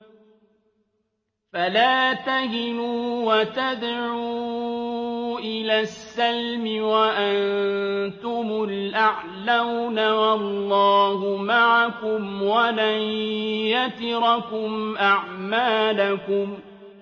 فَلَا تَهِنُوا وَتَدْعُوا إِلَى السَّلْمِ وَأَنتُمُ الْأَعْلَوْنَ وَاللَّهُ مَعَكُمْ وَلَن يَتِرَكُمْ أَعْمَالَكُمْ